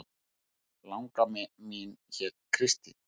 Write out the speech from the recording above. Langamma mín hét Kristín